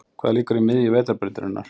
Hvað liggur í miðju Vetrarbrautarinnar?